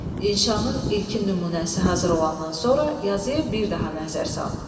İnşanın ilkin nümunəsi hazır olandan sonra yazıya bir daha nəzər sal.